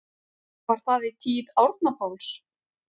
Var það í tíð Árna Páls